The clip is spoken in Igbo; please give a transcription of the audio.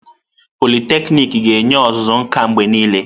Pọliteknịk ga-enye ọzụzụ nka mgbe niile.